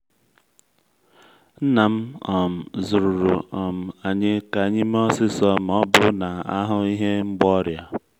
nna m um zụruru um anyị ka anyị mee osisor ma ọ bụrụ na a hụ ihe mgba ọrịa.